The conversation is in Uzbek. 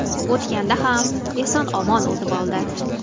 O‘tganda ham eson-omon o‘tib oldi.